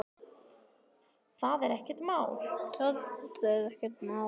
Það er ekkert mál.